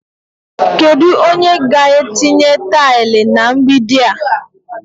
Kedu onye ga-etinye taịlị na mgbidi a?